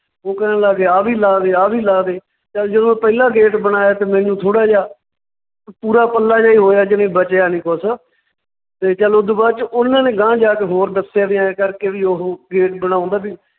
ਉਹ ਕਹਿਣ ਲੱਗ ਗਏ ਆਹ ਵੀ ਲਾ ਦੇ ਆਹ ਵੀ ਲਾ ਦੇ, ਚੱਲ ਜਦੋਂ ਪਹਿਲਾਂ gate ਬਣਾਇਆ ਤਾਂ ਮੈਨੂੰ ਥੌੜਾ ਜਿਹਾ ਪੂਰਾ ਪੱਲਾ ਜਿਹਾ ਹੀ ਹੋਇਆ ਕਿ ਵੀ ਬਚਿਆ ਨੀ ਕੁਛ ਤੇ ਚੱਲ ਓਦੂ ਬਾਅਦ ਚ ਉਨਾਂ ਨੇ ਗਾਂਹ ਜਾ ਕੇ ਹੋਰ ਦੱਸਿਆ ਵੀ ਐਂ ਕਰਕੇ ਵੀ ਉਹ gate ਬਣਾਉਂਦਾ ਵੀ